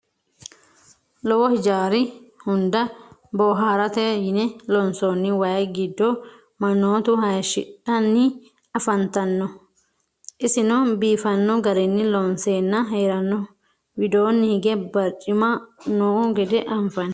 Lowo hijjari hunda booharatte yinne loonsoonni wayi giddo manoottu hayiishidhanni affanttanno. isinno biiffanno garinni loonseenna heeranoho. widoonni hige baricimma noo gede anfanni